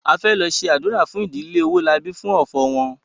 A fẹ lọ ṣe ádùrá fún ìdílé Owólabí fún ọ̀fọ̀ wọn